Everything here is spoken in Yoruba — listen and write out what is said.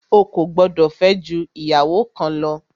O kò gbọdọ̀ fẹ́ jù ìyàwó kan lọ!